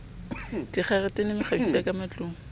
dikgaretene mekgabiso ya ka matlung